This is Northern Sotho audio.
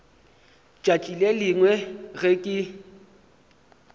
tšatši le lengwe ge ke